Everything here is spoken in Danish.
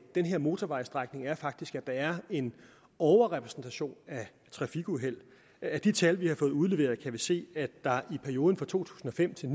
den her motorvejsstrækning er faktisk at der er en overrepræsentation af trafikuheld af de tal vi har fået udleveret kan vi se at der i perioden fra to tusind og fem til